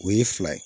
O ye fila ye